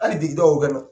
Hali bi o kɛnɛ